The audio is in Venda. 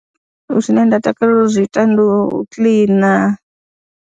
Zwi ne nda takalela u zwi ita ndi u kiḽina.